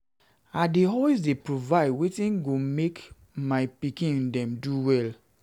I dey always provide everytin wey go make my pikin dem do well.